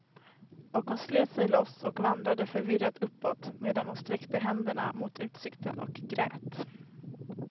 Och hon slet sig loss och vandrade förvirrat uppåt, medan hon sträckte händerna mot utsikten och grät.